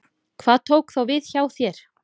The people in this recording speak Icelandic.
Hvað tók þá við hjá þér?